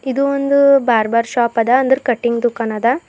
ಇದು ಒಂದು barber shop ಅದ ಅಂದ್ರ ಕಟಿಂಗ್ ದುಖಾನದ.